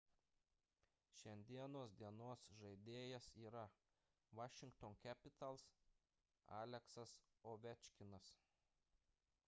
šiandienos dienos žaidėjas yra washington capitals aleksas ovečkinas